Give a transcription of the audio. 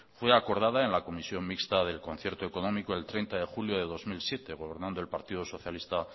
fue acordada en la comisión mixta del concierto económico el treinta de julio de dos mil siete por lo tanto el partido socialista